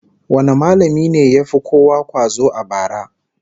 Wane mallamin ne ya fi kowa kwazo a bara?